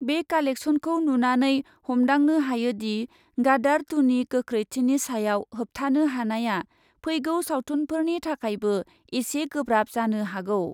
बे कालेक्सनखौ नुनानै हमदांनो हायोदि, गादार टुनि गोख्रैथिनि सायाव होबथानो हानाया फैगौ सावथुनफोरनि थाखायबो एसे गोब्राब जानो हागौ।